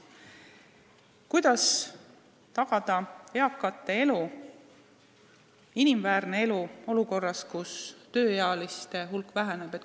Kuidas tagada eakatele inimväärne elu olukorras, kus tööealiste hulk väheneb?